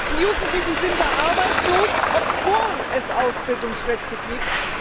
Die Jugendlichen sind dort arbeitslos, obwohl es Ausbildungsplätze gibt.